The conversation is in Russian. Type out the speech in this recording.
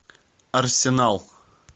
арсенал